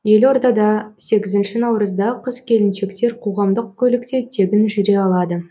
елордада сегізінші наурызда қыз келіншектер қоғамдық көлікте тегін жүре алады